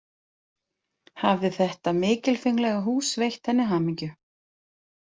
Hafði þetta mikilfenglega hús veitt henni hamingju?